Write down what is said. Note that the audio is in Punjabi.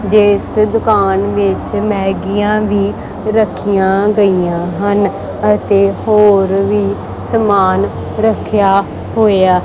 ਜਿੱਸ ਦੁਕਾਨ ਵਿੱਚ ਮੈਗੀਆਂ ਵੀ ਰੱਖਿਆ ਗਈਆਂ ਹਨ ਅਤੇ ਹੋਰ ਵੀ ਸਮਾਨ ਰੱਖਿਆ ਹੋਇਆ।